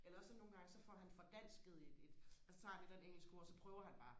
eller også så nogle gange så får han fordansket et et altså så tager han et eller andet engelsk ord og så prøver han bare